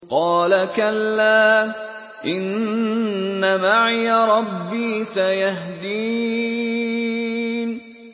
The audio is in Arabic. قَالَ كَلَّا ۖ إِنَّ مَعِيَ رَبِّي سَيَهْدِينِ